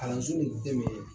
Kalanso nin dɛmɛ